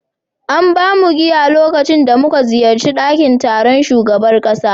An ba mu giya a lokacin da muka ziyarci dakin taron shugaban kasa